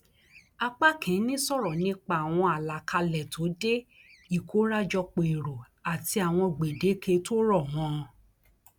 apá kìínní sọrọ nípa àwọn alákálẹ tó dé ìkórajòpó èrò àti àwọn gbèdéke tó rọ mọ ọn